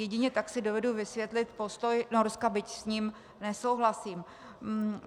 Jedině tak si dovedu vysvětlit postoj Norska, byť s ním nesouhlasím.